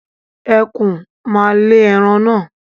Ẹkùn ma lè ẹran naa